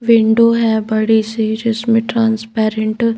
window है बड़ी सी जिसने ट्रांसपरेंट --